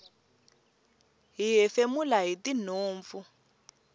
hi hefemula hitinhompfu